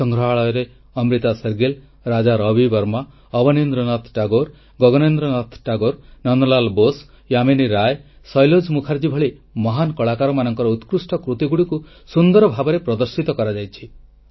ସଂଗ୍ରହାଳୟରେ ଅମ୍ରିତା ଶେରଗିଲ୍ ରାଜା ରବି ବର୍ମା ଅବନିନ୍ଦ୍ରନାଥ ଟାଗୋର ଗଗନେନ୍ଦ୍ର ନାଥ ଟାଗୋର ନନ୍ଦଲାଲ୍ ବୋଷ ଯାମିନୀ ରାୟ ସୈଲୋଜ୍ ମୁଖାର୍ଜୀ ଭଳି ମହାନ୍ କଳାକାରମାନଙ୍କ ଉତ୍କୃଷ୍ଟ କୃତିଗୁଡ଼ିକୁ ସୁନ୍ଦର ଭାବେ ପ୍ରଦର୍ଶିତ କରାଯାଇଛି